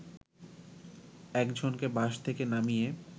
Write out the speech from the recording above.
এক জনকে বাস থেকে নামিয়ে